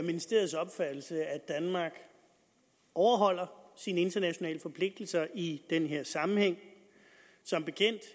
ministeriets opfattelse at danmark overholder sine internationale forpligtelser i den her sammenhæng som bekendt og